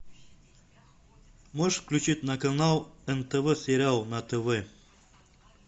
можешь включить на канал нтв сериал на тв